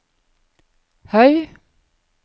høy